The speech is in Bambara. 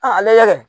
ale